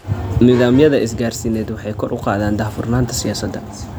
Nidaamyada isgaarsiineed waxay kor u qaadaan daahfurnaanta siyaasadda.